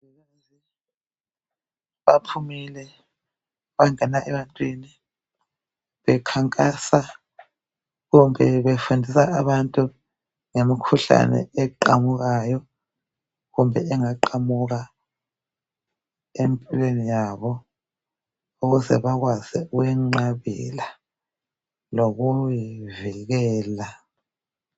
Baphumile bangena ebantwini bekhankasa kumbe befundisa abantu ngemkhuhlane eqhamukayo kumbe engaqhamuka empilweni yabo ukuze bakwazi ukuwenqabela lokuyi vikela.